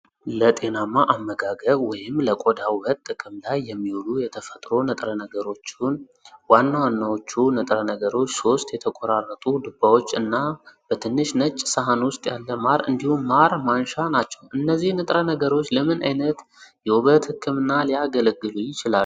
ለጤናማ አመጋገብ ወይምለቆዳ ውበት ጥቅም ላይ የሚውሉ የተፈጥሮ ንጥረ ነገሮችን ዋናዎቹ ንጥረ ነገሮች ሶስት የተቆራረጡ ዱባዎች እና በትንሽ ነጭ ሳህን ውስጥ ያለ ማር እንዲሁም ማር ማንሻ ናቸው። እነዚህ ንጥረ ነገሮች ለምን አይነት የውበት ሕክምና ሊያገለግሉ ይችላሉ?